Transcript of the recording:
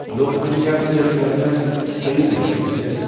Lokmanya Tilak terminus Karimnagar express